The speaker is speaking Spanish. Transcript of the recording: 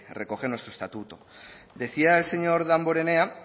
recoge nuestro estatuto decía el señor damborenea